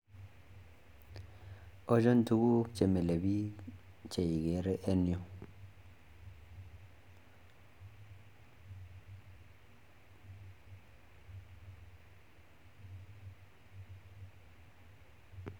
Ochon tuguk chemile biik cheikere en yu?